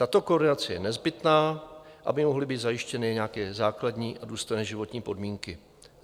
Tato koordinace je nezbytná, aby mohly být zajištěny nějaké základní a důstojné životní podmínky.